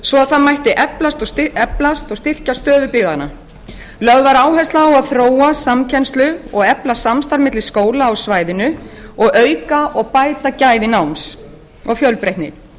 svo það mætti eflast og styrkja stöðu byggðanna lögð var áhersla á að þróa samkennslu og efla samstarf milli skóla á svæðinu og auka og bæta gæði náms og fjölbreytni